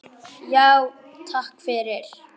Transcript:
Já, takk fyrir.